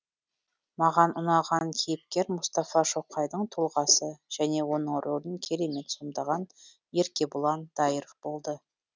маған ұнаған кейіпкер мұстафа шоқайдың тұлғасы және оның рөлін керемет сомдаған еркебұлан дайыров болды